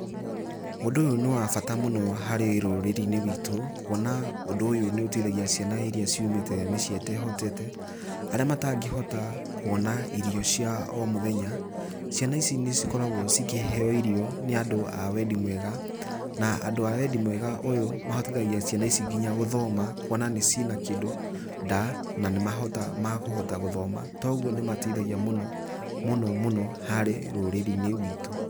Ũndũ ũyũ nĩ wa bata mũno harĩ rũrĩrĩ-inĩ, rwitũ kuona ũndũ ũyũ nĩ ũ uteithagia ciana iria ciumite mĩciĩ ĩtehotete, arĩa matangĩhota kuona irio cia omũthenya, ciana ici nĩ cikoragwo cikĩheo irio nĩ andũ a wendi mwega, na andũ a wendi mwega ũyũ mahotithagia ciana ici nginya gũthoma kuona nĩ cina kĩndũ nda na nĩmahotaga kũhota gũthoma to ũgũo nĩ mateithagia mũno mũno harĩ rũrĩrĩ-inĩ rwitũ.